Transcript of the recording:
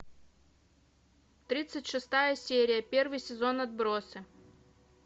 тридцать шестая серия первый сезон отбросы